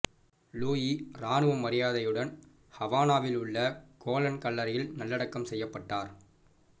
Louis ராணுவ மரியாதையுடன் ஹாவானாவில் உள்ள கோலன் கல்லறையில் நல்லடக்கம் செய்யப்பட்டார்